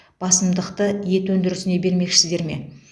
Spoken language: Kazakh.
басымдықты ет өндірісіне бермекшісіздер ме